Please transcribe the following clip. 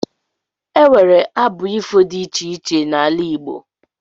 E nwere abụ ifo dị iche iche n'ala Igbo